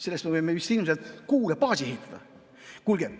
Selle eest me võime ilmselt Kuu peale baasi ehitada.